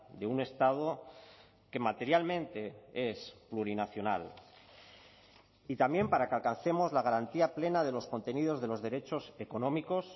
de un estado que materialmente es plurinacional y también para que alcancemos la garantía plena de los contenidos de los derechos económicos